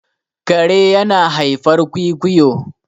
kare yana haifar kwikwiyo